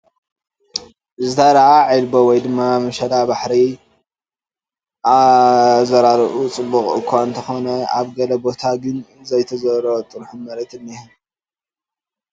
ዝተዘርኣ ዒልቦ ወይ ድማ መሸባሕሪ እዩ ኣዘራርኡኡ ፅቡቕ አኳ እንተኽነ ኣብ ገለ ገለ ቦታ ግን ዘይተዘርኦ ጥርሑ መሬት እንሄ ።